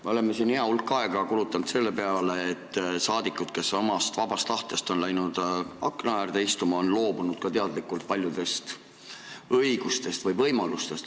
Me oleme siin hea hulk aega kulutanud saadikute peale, kes omast vabast tahtest on läinud akna äärde istuma ja on teadlikult loobunud ka paljudest õigustest või võimalustest.